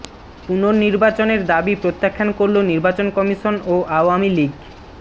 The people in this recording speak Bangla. পুনর্নির্বাচনের দাবি প্রত্যাখ্যান করল নির্বাচন কমিশন ও আওয়ামী লীগ